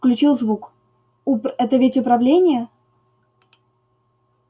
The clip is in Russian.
включил звук упр это ведь управление